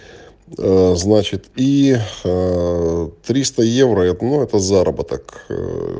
значит и тристаевро это ну этот заработок